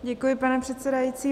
Děkuji, pane předsedající.